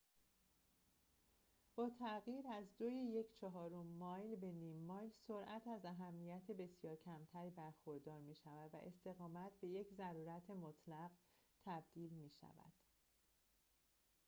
با تغییر از دوی یک چهارم مایل به نیم مایل سرعت از اهمیت بسیار کمتری برخوردار می شود و استقامت به یک ضرورت مطلق تبدیل می شود